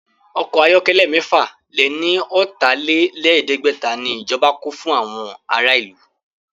Ọkọ̀ ayọ̀kẹ́lẹ́ mẹ́fà lè ní ọ̀tà-lé-lẹ̀ẹ́dẹ́gbẹ̀ta ni ìjọba kó fún àwọn ará ìlú